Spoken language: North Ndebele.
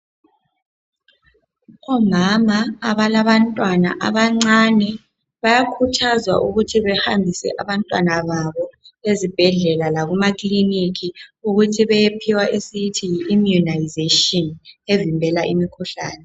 Omama abala bantwana abancane bayakhuthazwa ukuthi behambise abantwana babo ezibhedlela lakuma kliniki ukuthi beyephiwa esiyithiyi immunisation evimbela imikhuhlane.